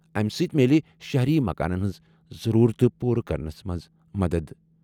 اَمہِ سۭتۍ میلہِ شہری مکانَن ہٕنٛز ضروٗرتہٕ پوٗرٕ کرنس منٛز مدد۔